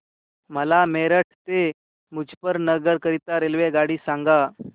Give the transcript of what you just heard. मला मेरठ ते मुजफ्फरनगर करीता रेल्वेगाडी सांगा